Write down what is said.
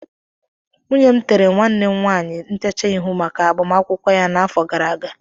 Nwunye m tere nwanne m nwanyị ntecha ihu maka agbamakwụkwọ ya n'afọ gara aga